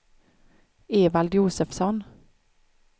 Evald Josefsson